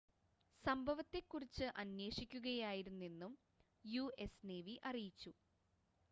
സംഭവത്തെ കുറിച്ച് അന്വേഷിക്കുകയായിരുന്നെന്നും യുഎസ് നേവി അറിയിച്ചു